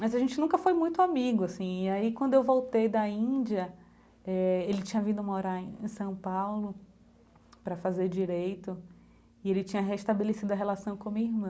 Mas a gente nunca foi muito amigo assim, e aí quando eu voltei da Índia eh, ele tinha vindo morar em São Paulo para fazer direito, e ele tinha restabelecido a relação com a minha irmã.